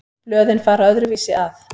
Blöðin fara öðruvísi að.